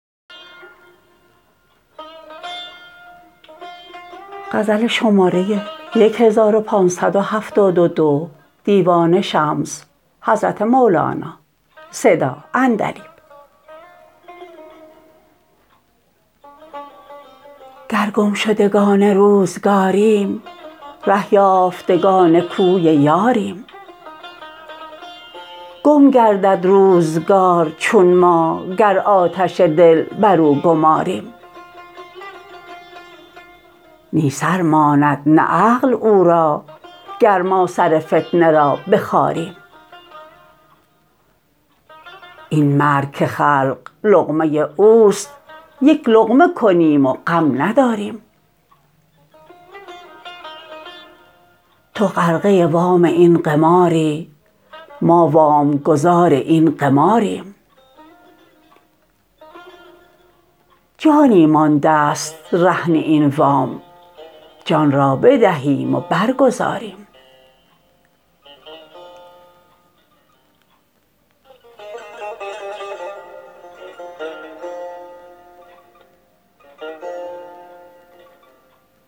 گر گمشدگان روزگاریم ره یافتگان کوی یاریم گم گردد روزگار چون ما گر آتش دل بر او گماریم نی سر ماند نه عقل او را گر ما سر فتنه را بخاریم این مرگ که خلق لقمه اوست یک لقمه کنیم و غم نداریم تو غرقه وام این قماری ما وام گزار این قماریم جانی مانده ست رهن این وام جان را بدهیم و برگزاریم